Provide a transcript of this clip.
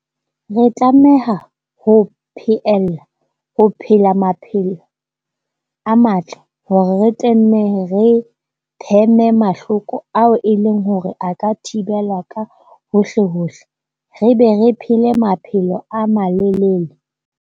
Re tlameha ho pheella ho phela maphelo a matle hore re tle re pheme mahloko ao e leng hore a ka thibelwa ka hohlehohle, re be re phele maphelo a malelele.